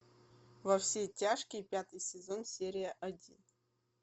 во все тяжкие пятый сезон серия один